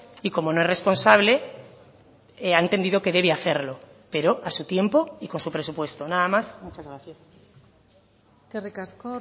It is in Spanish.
y como no es responsable ha entendido que debe hacerlo pero a su tiempo y con su presupuesto nada más muchas gracias eskerrik asko